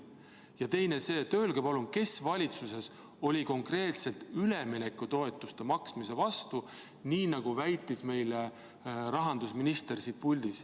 Ja teiseks: öelge palun, kes valitsuses oli konkreetselt üleminekutoetuste maksmise vastu, nii nagu väitis meile siin puldis rahandusminister.